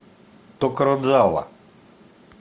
токородзава